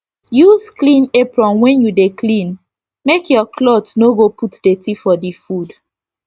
use clean apron when u dey clean make ur cloth no go put dirty for d food